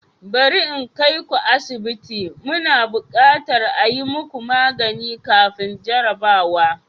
Bari in kai ku asibiti, muna buƙatar a yi muku magani kafin jarrabawa.